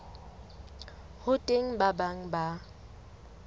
ho teng ba bang ba